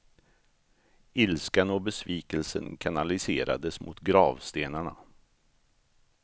Ilskan och besvikelsen kanaliserades mot gravstenarna.